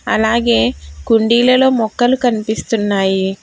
అలాగే కుండీలలో మొక్కలు కనిపిస్తున్నాయి.